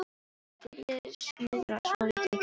Ég byrjaði að snuðra svolítið í kringum þetta.